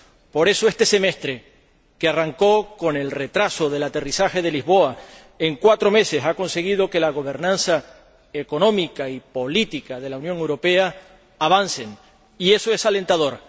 Por eso, este semestre, que arrancó con el retraso del aterrizaje de Lisboa, en cuatro meses ha conseguido que la gobernanza económica y política de la Unión Europea avance, y eso es alentador.